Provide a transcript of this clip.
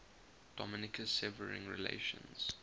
dominica's severing relations